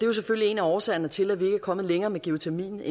jo selvfølgelig en af årsagerne til at vi ikke er kommet længere med geotermien